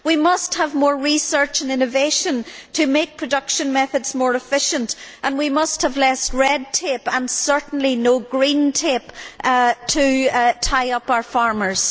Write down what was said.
We must have more research and innovation to make production methods more efficient, and we must have less red tape and certainly no green tape to tie up our farmers.